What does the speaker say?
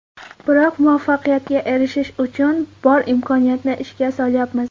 Biroq muvaffaqiyatga erishish uchun bor imkoniyatni ishga solyapmiz.